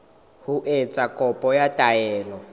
ho etsa kopo ya taelo